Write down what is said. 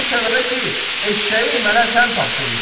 O səbəbə ki, eşşəyi mənə sən tapşırmısan.